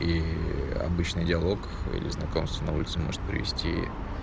ии обычный диалог или знакомство на улице может привести